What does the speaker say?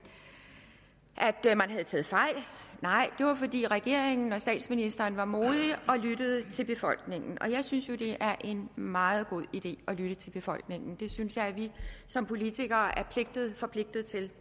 havde taget fejl nej det var fordi regeringen og statsministeren var modige og lyttede til befolkningen og jeg synes jo det er en meget god idé at lytte til befolkningen det synes jeg at vi som politikere er forpligtet til